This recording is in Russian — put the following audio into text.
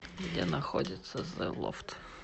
где находится зе лофт